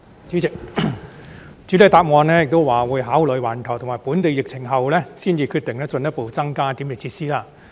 主席，主體答覆表示會考慮環球及本地疫情後，才決定進一步增加檢疫設施。